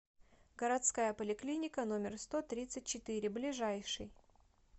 городская поликлиника номер сто тридцать четыре ближайший